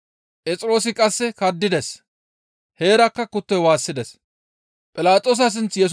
Phexroosi qasseka kaddides; heerakka kuttoy waassides.